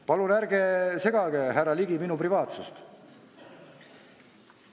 Palun ärge rikkuge, härra Ligi, minu privaatsust!